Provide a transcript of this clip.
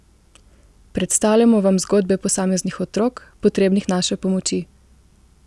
Predstavljamo vam zgodbe posameznih otrok, potrebnih naše pomoči!